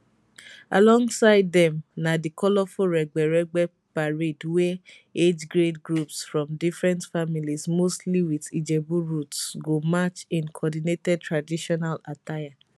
alongside dem na di colourful regbe regbe parade wia agegrade groups from different families mostly wit ijebu roots go march in coordinated traditional attire